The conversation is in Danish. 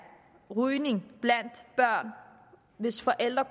rygning blandt børn hvis forældre